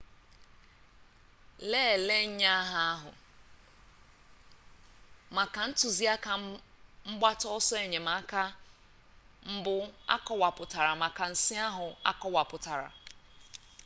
lelee nnyeaha ahụ maka ntụziaka mgbata ọsọ enyemaka mbụ akọwapụtara maka nsi ahụ akọwapụtara